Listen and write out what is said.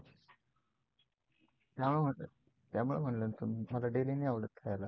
त्यामुळे म्हणलं ना तुला मला daily नाही आवडत खायला.